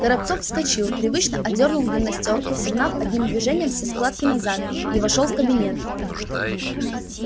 горобцов вскочил привычно одёрнул гимнастёрку согнав одним движением все складки назад и вошёл в кабинет